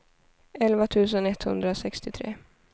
elva tusen etthundrasextiotre